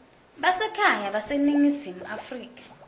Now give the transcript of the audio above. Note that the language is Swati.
basekhaya baseningizimu afrika